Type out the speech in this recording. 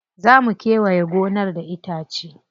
Za mu kewaye gonar da itace.